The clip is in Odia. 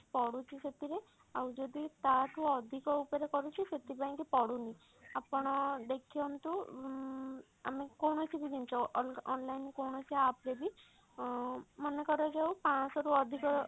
ପଡୁଛି ସେଥିରେ ଆଉ ଯଦି ତା ଠୁ ଅଧିକ ଉପରେ କରୁଛି ସେଥିପାଇଁ କି ପଡୁନି ଆପଣ ଦେଖନ୍ତୁ ଉଁ ଆମେ କୌଣସି ବି ଜିନିଷ ଅଲଗା online ରେ କୌଣସି app ରେ ବି ଅ ମନେ କରାଯାଉ ପାଞ୍ଚଶହ ରୁ ଅଧିକ